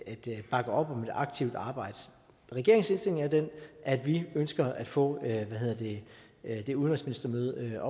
aktivt arbejde regeringens indstilling er den at vi ønsker at få det udenrigsministermøde